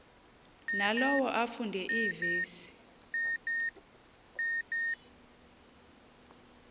nalowo afunde iivesi